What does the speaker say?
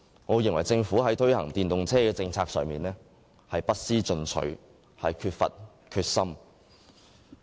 我認為政府在推行電動車政策上不思進取，欠缺決心。